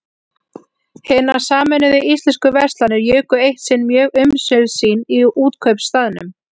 Hinar sameinuðu íslensku verslanir juku eitt sinn mjög umsvif sín í Útkaupstaðnum.